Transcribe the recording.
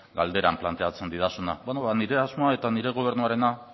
galderan planteatzen didazuna beno ba nire asmoa eta